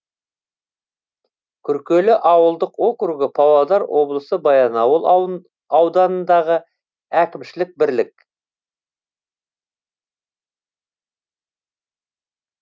күркелі ауылдық округі павлодар облысы баянауыл ауданындағы әкімшілік бірлік